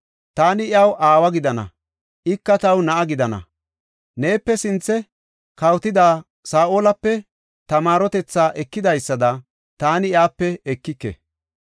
Taani iyaw aawa gidana; ika taw na7a gidana. Neepe sinthe kawotida Saa7olape ta maarotetha ekidaysada taani iyape ekike.